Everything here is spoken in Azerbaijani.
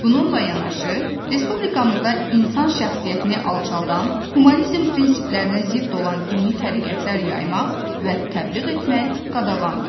Bununla yanaşı, Respublikamızda insan şəxsiyyətini alçaldan, humanizm prinsiplərinə zidd olan dini təriqətlər yaymaq və təbliğ etmək qadağandır.